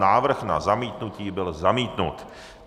Návrh na zamítnutí byl zamítnut.